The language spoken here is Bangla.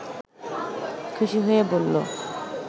খুশি হয়ে বলল